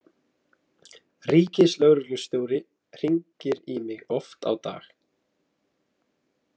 Ríkislögreglustjóri hringir í mig oft á dag.